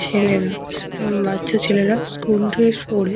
ছেলেরা বচ্চা ছেলেরা স্কুল ড্রেস পরে ।